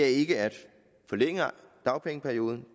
ikke er at forlænge dagpengeperioden